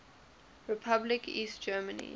republic east germany